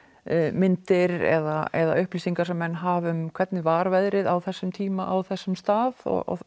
myndir eða eða upplýsingar sem menn hafa um hvernig var veðrið á þessum tíma á þessum stað